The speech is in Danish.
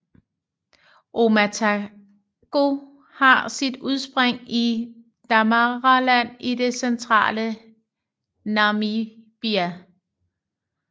Omatako har sit udspring i Damaraland i det centrale Namibia